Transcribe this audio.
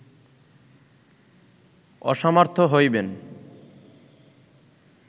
অসমর্থ হইবেন